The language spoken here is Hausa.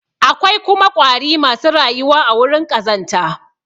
Akwai kuma ƙwari masu rayuwa a wurin ƙazanta.